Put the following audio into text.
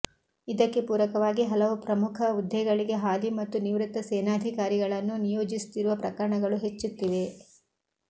ಇದಕ್ಕೆ ಪೂರಕವಾಗಿ ಹಲವು ಪ್ರಮುಖ ಹುದ್ದೆಗಳಿಗೆ ಹಾಲಿ ಮತ್ತು ನಿವೃತ್ತ ಸೇನಾಧಿಕಾರಿಗಳನ್ನು ನಿಯೋಜಿಸುತ್ತಿರುವ ಪ್ರಕರಣಗಳು ಹೆಚ್ಚುತ್ತಿವೆ